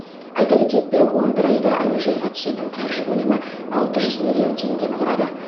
айта кетейік биыл он бір айда әуежайға түсетін қаржы көлемі алты жүз миллион теңгені құрады